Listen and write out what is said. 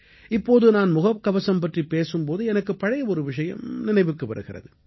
இப்போது நான் முகக்கவசம் பற்றிப் பேசும் போது எனக்கு பழைய ஒரு விஷயம் நினைவுக்கு வருகிறது